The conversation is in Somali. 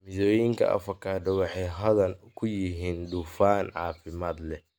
Midhooyinka avocado waxay hodan ku yihiin dufan caafimaad leh.